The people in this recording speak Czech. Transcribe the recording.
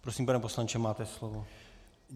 Prosím, pane poslanče, máte slovo.